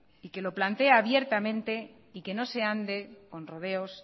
y que lo plantee abiertamente y que no se ande con rodeos